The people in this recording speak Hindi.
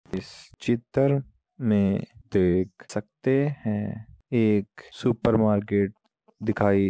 इस चित्र में देख सकते हैं एक सुपर मार्केट दिखाई --